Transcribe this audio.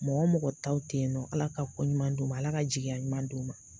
Mɔgɔ mɔgɔ taw ten yen nɔ, Ala ka kɔ ɲuman d'u ma, Ala ka jigiya ɲuman d'u ma.